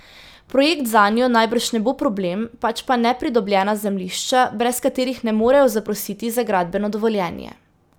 Projekt zanjo najbrž ne bo problem, pač pa nepridobljena zemljišča, brez katerih ne morejo zaprositi za gradbeno dovoljenje.